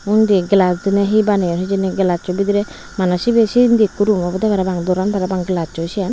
undi gelash diney he baneyon hijeni gelaccho bidirey maney sibey sinni ikko room obowde parapang doran parapang gelacchoi siyan.